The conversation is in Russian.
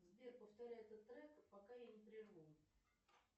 сбер повторяй этот трек пока я не прерву